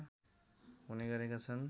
हुने गरेका छन्